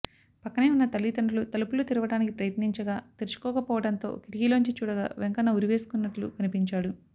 పక్కనే ఉన్న తల్లిదండ్రులు తలుపులు తెరువడానికి ప్రయత్నించగా తెరుచుకోకపోవడంతో కిటికీలోంచి చూడగా వెంకన్న ఉరి వేసుకున్నట్లు కనిపించాడు